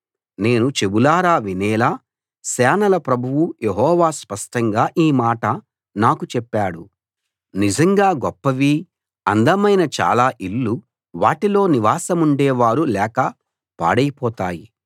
నేను చెవులారా వినేలా సేనల ప్రభువు యెహోవా స్పష్టంగా ఈ మాట నాకు చెప్పాడు నిజంగా గొప్పవి అందమైన చాలా ఇళ్ళు వాటిలో నివాసముండే వారు లేక పాడైపోతాయి